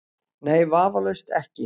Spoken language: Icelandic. Nei, vafalaust ekki.